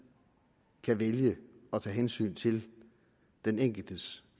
kan vælge at tage hensyn til den enkeltes